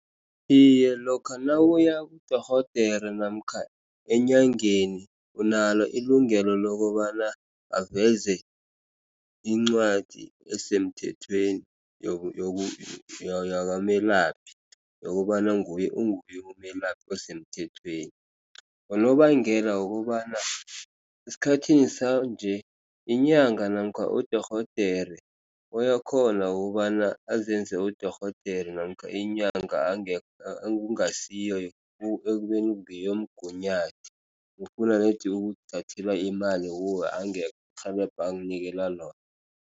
Iye, lokha nawuyakudorhodere namkha enyangeni unalo ilungelo lokobana aveze incwadi esemthethweni yakamelaphi. Yokobana nguye umelaphi esemthethweni, unobangela wokobana esikhathini sanje inyanga namkha udorhodere uyakhona ukobana azenze udorhodere namkha inyanga ekungasiyo, ekubeni ngeyomgunyathi, ufuna nedi ukukuthathela imali kuwe angekho irhelebho akunikela lona.